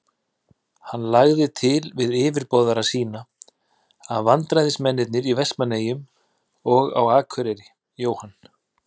Hann lagði til við yfirboðara sína, að vararæðismennirnir í Vestmannaeyjum og á Akureyri, Jóhann